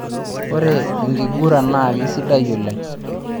Ore enkiguran naa keisidai oleng.